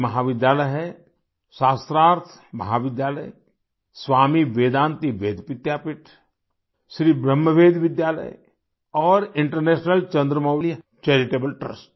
ये महाविद्यालय हैं शास्त्रार्थ महाविद्यालय स्वामी वेदांती वेद विद्यापीठ श्री ब्रह्म वेद विद्यालय और इंटरनेशनल चंद्रमौली चैरिटेबल ट्रस्ट